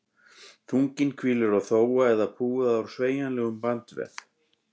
Þunginn hvílir á þófa eða púða úr sveigjanlegum bandvef.